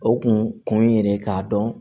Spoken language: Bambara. O kun ye yɛrɛ k'a dɔn